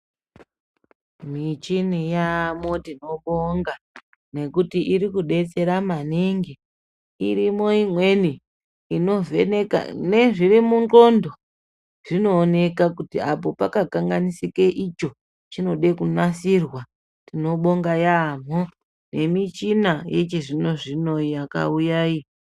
Michini yamo tinobonga ngekuti irikudetsera maningi , irimo imweni inovheneka nezviro mundxondo zvinooneka kuti apo pakakanganisike icho chinode kunasirwa tinobonga yambo nemichina yechizvino zvino yakauya iyi.